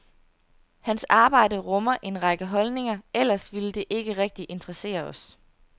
Hans arbejde rummer en række holdninger, ellers ville det ikke rigtig interessere os.